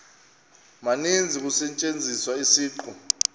maninzi kusetyenziswa isiqu